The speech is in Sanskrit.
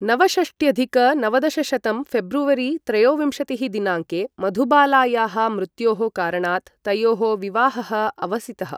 नवषष्ट्यधिक नवदशशतं फेब्रुवरी त्रयोविंशतिः दिनाङ्के मधुबालायाः मृत्योः कारणात् तयोः विवाहः अवसितः।